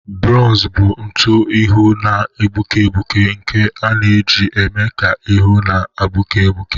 Bronza bụ ntụ ihụ na-egbuke egbuke nke a na-eji eme ka ihu na-egbuke egbuke